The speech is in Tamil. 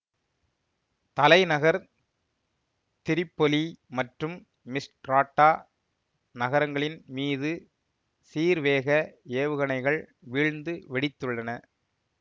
தலைநகர் திரிப்பொலி மற்றும் மிஸ்ட்ராட்டா நகரங்களின் மீது சீர்வேக ஏவுகணைகள் வீழ்ந்து வெடித்துள்ளன